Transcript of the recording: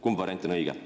Kumb variant on õige?